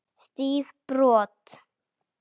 Stíf brot.